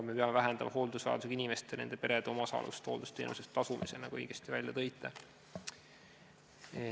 Me peame vähendama hooldusvajadusega inimeste ja nende perede omaosalust hooldusteenuse eest tasumisel, nagu te isegi õigesti märkisite.